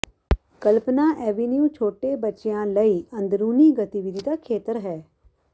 ਕਲਪਨਾ avenue ਛੋਟੇ ਬੱਚਿਆਂ ਲਈ ਅੰਦਰੂਨੀ ਗਤੀਵਿਧੀ ਦਾ ਖੇਤਰ ਹੈ